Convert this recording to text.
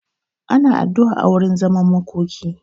Ana addu'a a wurin zaman makoki.